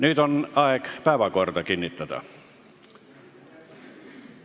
Nüüd on aeg päevakord kinnitada.